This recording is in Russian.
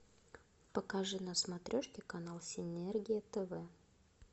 покажи на смотрежке канал синергия тв